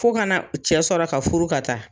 Fo ka na cɛ sɔrɔ ka furu ka taa